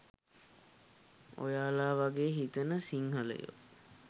ඔයලා වගේ හිතන සිංහලයෝ